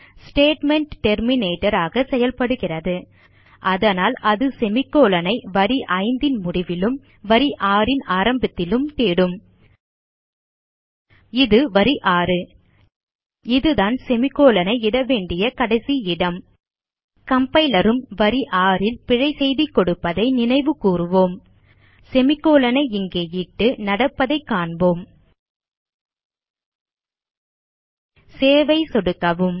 statement terminator ஆக செயல்படுகிறது அதனால் அது செமிகோலன் ஐ வரி 5 ன் முடிவிலும் வரி 6 ன் ஆரம்பத்திலும் தேடும் இது வரி 6 இதுதான் செமிகோலன் ஐ இட வேண்டிய கடைசி இடம் கம்பைலர் உம் வரி 6 ல் பிழை செய்தி கொடுப்பதை நினைவுகூறுவோம் செமிகோலன் ஐ இங்கே இட்டு நடப்பதைக் காண்போம் சேவ் ஐ சொடுக்கவும்